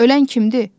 Ölən kimdir?